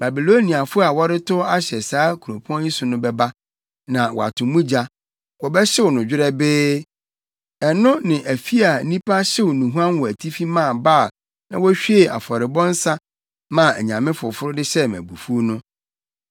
Babiloniafo a wɔretow ahyɛ saa kuropɔn yi so no bɛba, na wɔato mu gya; wɔbɛhyew no dwerɛbee, ɛno ne afi a nnipa hyew nnuhuam wɔ atifi maa Baal na wohwiee afɔrebɔ nsa maa anyame foforo de hyɛɛ me abufuw no.